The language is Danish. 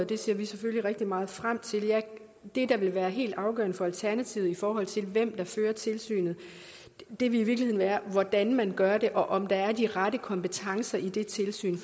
det ser vi selvfølgelig rigtig meget frem til det der vil være helt afgørende for alternativet i forhold til hvem der fører tilsynet vil i virkeligheden være hvordan man gør det og om der er de rette kompetencer i det tilsyn